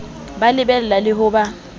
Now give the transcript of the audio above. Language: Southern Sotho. ba lebella le ho ba